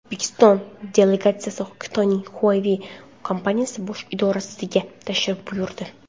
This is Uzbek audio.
O‘zbekiston delegatsiyasi Xitoyning Huawei kompaniyasi bosh idorasiga tashrif buyurdi.